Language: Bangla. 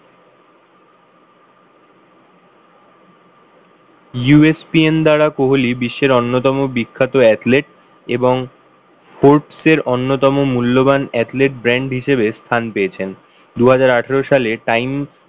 USPN দ্বারা কোহলি বিশ্বের অন্যতম বিখ্যাত athlete এবং forbes এর অন্যতম মূল্যবান athlete brand হিসেবে স্থান পেয়েছেন। দুহাজার আঠারো সালে time